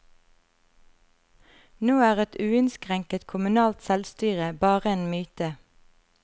Nå er et uinnskrenket kommunalt selvstyre bare en myte.